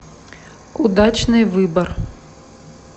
удачный выбор